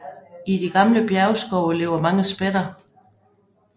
I de gamle bjergskove lever mange spætter